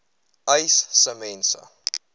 uys sê mense